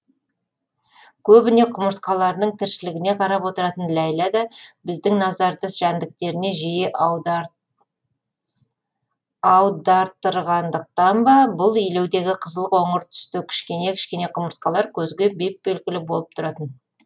көбіне құмырсқаларының тіршілігіне қарап отыратын ләйлә да біздің назарды жәндіктеріне жиі аудартырғандықтан ба бұл илеудегі қызыл қоңыр түсті кішкене кішкене құмырсқалар көзге беп белгілі болып тұратын